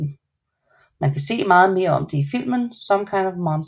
Man kan se meget mere om det i filmen Some Kind of Monster